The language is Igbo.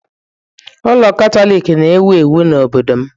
Ụka Katọlik na-ewu ewu n'obodo m.